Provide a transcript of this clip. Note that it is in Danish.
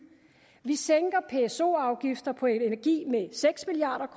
vi sænker pso afgifter på energi med seks milliard